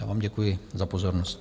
Já vám děkuji za pozornost.